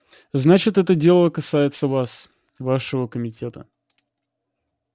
значит это дело касается вас вашего комитета